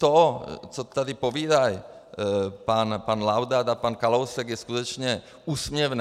To, co tady povídají pan Laudát a pan Kalousek, je skutečně úsměvné.